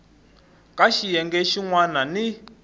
ka xiyenge xin wana ni